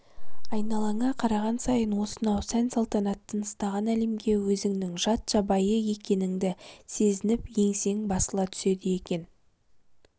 айналаңа қараған сайын осынау сән-салтанат тыныстаған әлемге өзіңнің жат жабайы екеніңді сезініп еңсең басыла түседі екен